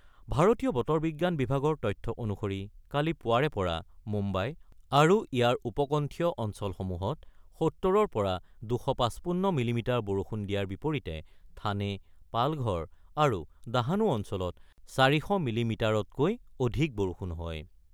ভাৰতীয় বতৰ বিজ্ঞান বিভাগৰ তথ্য অনুসৰি কালি পুৱাৰে পৰা মুম্বাই আৰু ইয়াৰ উপকণ্ঠীয় অঞ্চলসমূহত ৭০ ৰ পৰা ২৫৫ মিলি মিটাৰ বৰষুণ দিয়াৰ বিপৰীতে থানে, পালঘৰ আৰু দাহানু অঞ্চলত ৪০০ মিলিমিটাৰতকৈ অধিক বৰষুণ হয়।